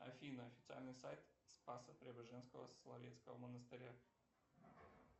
афина официальный сайт спасо преображенского соловецкого монастыря